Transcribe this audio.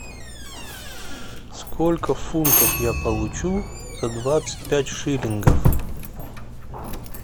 сколько фунтов я получу за двадцать пять шиллингов